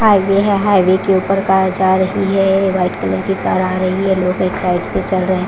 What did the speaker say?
Highway है highway के उपर कार जा रही है एक वाइट कलर की कार आ रही है लोग एक साइड पे चल रहे है।